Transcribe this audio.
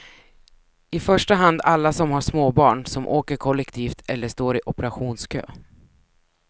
I första hand alla som har småbarn, som åker kollektivt eller står i operationskö.